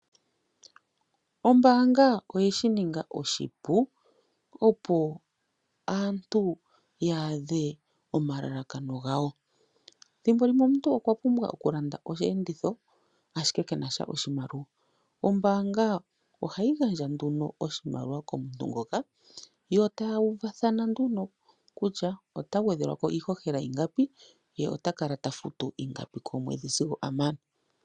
Ombaanga oye shininga oshipu opo aantu ya adhe omalakano gawo. Ethimbo limwe omuntu okwa pumbwa okulanda oshi enditho ashike kena oshimaliwa. Ombaanga oha yi gandja oshimaliwa komuntu ngoka, yo eta yuuvathana nduno kutya ota gwedhelwako iihohela ingapi ye ota kala tafutu ingapi komwedhi sigo amana.